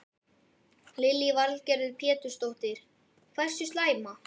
Lillý Valgerður Pétursdóttir: Hversu slæma?